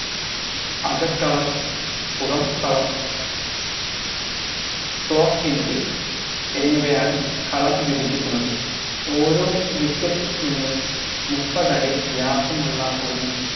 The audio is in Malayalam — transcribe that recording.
അകക്കളം പുറം കളം closing field എന്നിവയാണ് കളം വിഭജിക്കുന്നത് ഓരോ wicket നിന്നും മുപ്പതടി വ്യാസമുള്ള ഒരു